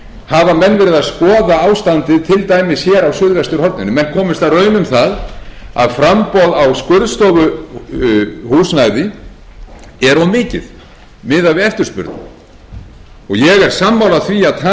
hafa menn verið að skoða ástandið til dæmis hér á suðvesturhorninu menn komust að raun um það að framboð á skurðstofuhúsnæði er of mikið miðað við eftirspurn ég er sammála því að taka slíka hluti til